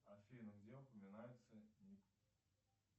афина где упоминается